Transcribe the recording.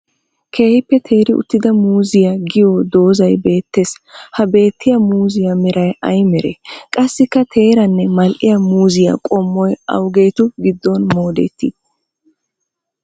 Keehippe teeri utidda muuzziya giyo doozay beetes ha beetiyaa muuzziya meray ayba meree? Qasikka teerane mali'iya muuzziya qommoy awugeetu gidon moodeti?